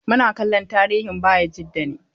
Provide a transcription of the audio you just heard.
Muna kallon tarihin Bayajida ne.